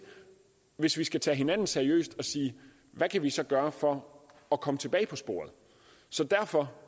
hvis vi skal tage hinanden seriøst at sige hvad kan vi så gøre for at komme tilbage på sporet så derfor